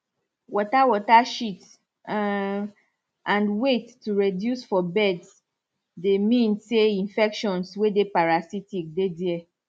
water water shit um and weight to reduce for birds dey means say infections way dey parasitic dey there